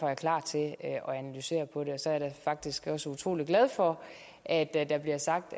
jeg klar til at analysere på det så er jeg faktisk også utrolig glad for at der bliver sagt